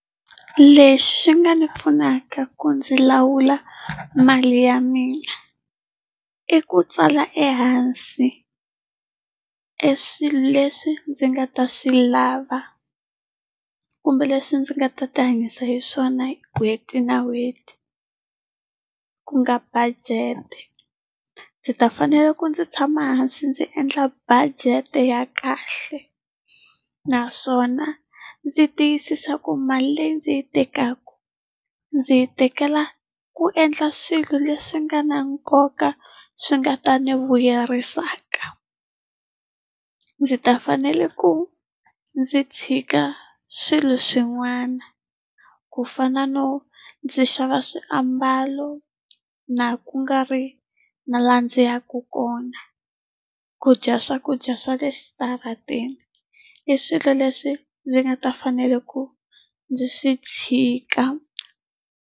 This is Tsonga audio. Lexi xi nga ndzi pfunaka ku ndzi lawula mali ya mina, i ku tsala ehansi eswilo leswi ndzi nga ta swi lava kumbe leswi ndzi nga ta ti hanyisa hi swona n'hweti na n'hweti. Ku nga budget-e. Ndzi ta fanele ku ndzi tshama hansi ndzi endla budget-e ya kahle. Naswona ndzi tiyisisa ku mali leyi ndzi yi tekaka ndzi yi tekela ku endla swilo leswi nga na nkoka, swi nga ta ni vuyerisaka. Ndzi ta fanele ku ndzi tshika swilo swin'wana, ku fana no ndzi xava swiambalo, na ku nga ri na laha ndzi yaka kona. Ku dya swakudya swa le xitaratini, i swilo leswi ndzi nga ta fanele ku ndzi swi tshika.